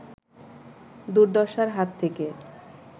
দুর্দশার হাত থেকে